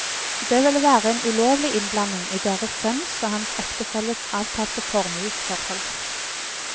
Det ville være en ulovlig innblanding i deres sønns og hans ektefelles avtalte formuesforhold.